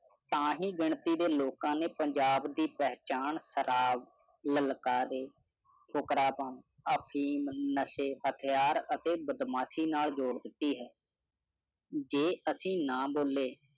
ਤਾਹਿ ਗਿਣਤੀ ਦੇ ਲੋਕਾਂ ਨੇ ਪੰਜਾਬ ਦੀ ਪਹਿਚਾਣ ਸ਼ਰਾਬ, ਲਲਕਾਰੇ, ਫੁਕਰਾਪਨ, ਅਫੀਮ, ਨਸ਼ੇ, ਹਥਿਆਰ ਅਤੇ ਬਦਮਾਸ਼ੀ ਨਾਲ ਜੋੜ ਦਿਤੀ ਹੈ। ਜੇ ਅਸੀਂ ਨਾ ਬੋਲੇ